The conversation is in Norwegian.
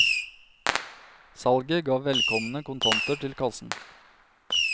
Salget ga velkomne kontanter til kassen.